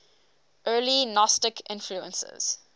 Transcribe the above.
early gnostic influences